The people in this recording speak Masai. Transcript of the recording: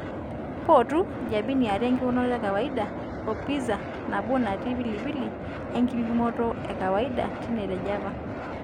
potu jabini aare ekipimonoto ekawaida oo pizza nabo nattii pilipli ekipimonoto ekaiwaida tine te java